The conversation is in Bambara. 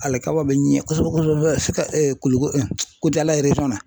Alikama be ɲɛ kosɛbɛ kosɛbɛ Sika Kuliko Kucala na .